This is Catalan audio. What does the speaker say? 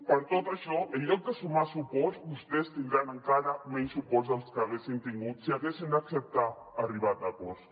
per tot això en lloc de sumar suports vostès tindran encara menys suports dels que haguessin tingut si haguessin acceptat arribar a acords